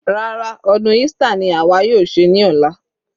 Rárá, ọdún Easter ni àwa yóò ṣe ní ọ̀la.